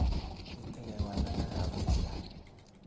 Iiite kewalenak rapisyiek